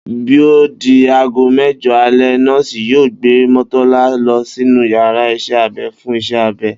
Bí ó di aago mé̩jo̩ alé̩, nó̩ò̩sì yóò gbé Mó̩tó̩lá lo̩ sínú yàrá is̩é̩ abe̩ fún is̩é̩ abe̩